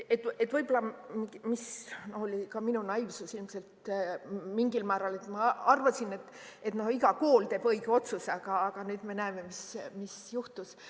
Võib-olla oli ka minu naiivsus mingil määral, kui ma arvasin, et iga kool teeb õige otsuse, aga nüüd me näeme, mis juhtus.